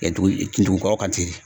Dugu dugu kɔrɔ kan ten.